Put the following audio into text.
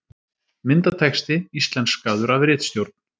Myndatexti íslenskaður af ritstjórn.